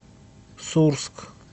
сурск